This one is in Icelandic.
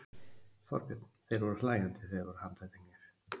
Þorbjörn: Þeir voru hlæjandi þegar þeir voru handteknir?